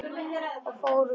Og förum úr.